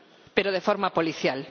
Pero de forma policial.